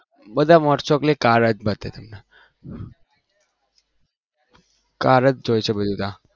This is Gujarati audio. બધા most of કર જોઈ છે બધી ત્યાં